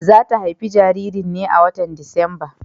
Za ta haifi jaririn ne a watan Disamba.